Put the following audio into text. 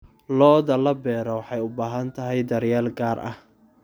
Lo'da la beero waxay u baahan tahay daryeel gaar ah.